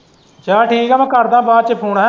ਚੱਲ ਠੀਕ ਏ ਮੈਂ ਕਰਦਾ ਬਾਅਦ ਚ ਫੋਨ ਹੈ।